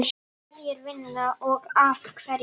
Hverjir vinna og af hverju?